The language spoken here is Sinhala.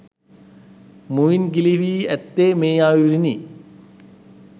මුවින් ගිලිහී ඇත්තේ මේ අයුරිනි.